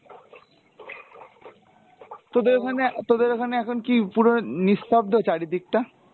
তোদের ওখানে, তোদের ওখানে এখন কি পুরো নিস্তব্দ চারি দিকটা?